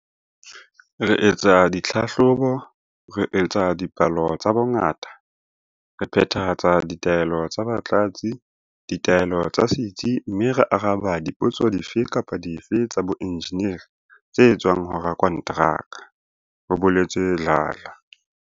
"Re etsa ditlhahlobo, re etsa dipalo tsa bongata, re phethahatsa ditaelo tsa batlatsi, ditaelo tsa setsi mme re araba dipotso dife kapa dife tsa boenjeneri tse tswang ho rakonteraka," ho boletse Dladla.